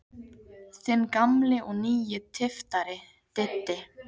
Þinn gamli og nýi tyftari, Diddi.